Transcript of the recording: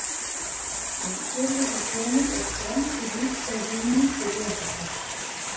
En hér liggur gömul og skrambi lífseig hugmynd til grundvallar.